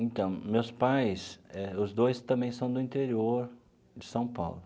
Então, meus pais eh, os dois também são do interior de São Paulo.